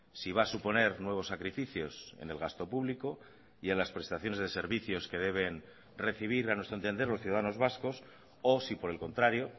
si va a suponer nuevos sacrificios en el gasto público y en las prestaciones de servicios que deben recibir a nuestro entender los ciudadanos vascos o si por el contrario